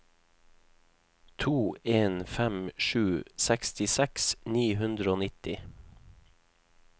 to en fem sju sekstiseks ni hundre og nitti